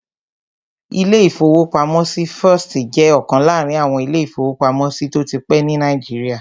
Ilé-ìfowópamọ́sí First jẹ́ ọ̀kan láàrin àwọn ilé-ìfowópamọ́sí tó ti pẹ́ ní Nàìjíríà